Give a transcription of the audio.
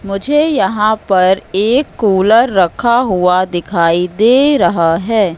मुझे यहां पर एक कूलर रखा हुआ दिखाई दे रहा है।